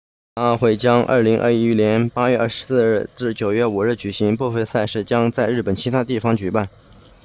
残奥会将于2021年8月24日至9月5日举行部分赛事将在日本其他地方举办